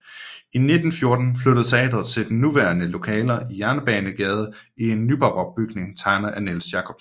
I 1914 flyttede teatret til de nuværende lokaler i Jernbanegade i en nybarok bygning tegnet af Niels Jacobsen